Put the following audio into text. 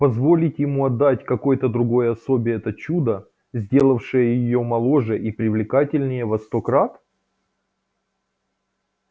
позволить ему отдать какой-то другой особе это чудо сделавшее её моложе и привлекательнее во сто крат